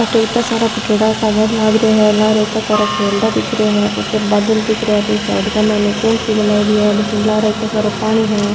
अठ इता सारा फ़ुटेडा सा घर लाग रा है लार इता खेरड़ा दिख रा हैं ऊपर बादल दिख रा है इन साइड के माइन कुंट सी बनाएडी है बठ लार ईंतो सारों पानी है।